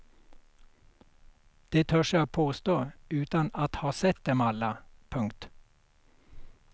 De törs jag påstå utan att ha sett dem alla. punkt